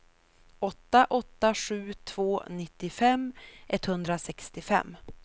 åtta åtta sju två nittiofem etthundrasextiofem